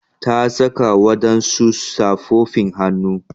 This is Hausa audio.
Ta saka wadansu safofin hannu.